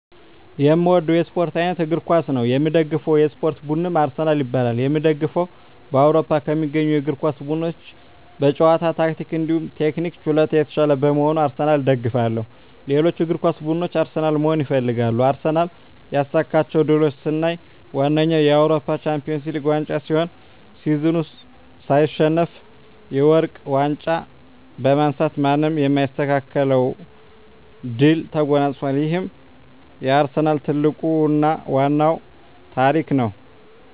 የእምወደዉ የእስፖርት አይነት እግር ኳስ ነዉ። የምደግፈዉ የእስፖርት ቡድንም አርሰናል ይባላል። የእምደግፈዉም በአዉሮፖ ከሚገኙ የእግር ኳስ ቡድኖች በጨዋታ ታክቲክ እንዲሁም ቴክኒክና ችሎታ የታሻለ በመሆኑ አርሰናልን እደግፋለሁ። ሌሎች እግር ኳስ ብድኖች አርሰናልን መሆን ይፈልጋሉ። አርሰናል ያሳካቸዉ ድሎች ስናይ ዋነኛዉ የአዉሮፖ ሻንፒወንስ ሊግ ዋንጫ ሲሆን ሲዝኑን ሳይሸነፍ የወርቅ ዋንጫ በማንሳት ማንም የማይስተካከለዉን ድል ተጎናፅፋል ይሄም የአርሰናል ትልቁና ዋናዉ ታሪክ ነዉ።